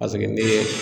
Paseke ni ye